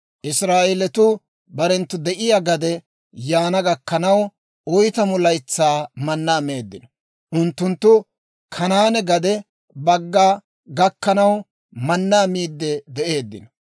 Israa'eelatuu barenttu de'iyaa gade yaana gakkanaw oytamu laytsaa mannaa meeddino; unttunttu Kanaane gade bagga gakkanaw mannaa miidde de'eeddino.